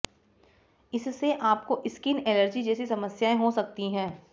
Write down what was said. इससे आपको skin allergy जैसी समस्याएं हो सकती हैं